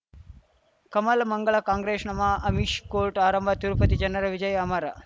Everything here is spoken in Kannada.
ಕಮಲ ಮಂಗಳ ಕಾಂಗ್ರೆಶ್ ನಮಃ ಅಮಿಷ್ ಕೋರ್ಟ್ ಆರಂಭ ತಿರುಪತಿ ಜನರ ವಿಜಯ ಅಮರ